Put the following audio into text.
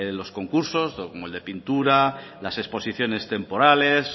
los concursos como el de pintura las exposiciones temporales